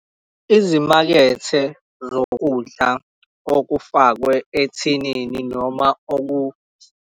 Izimakethe zokudla okufakwe ethinini noma .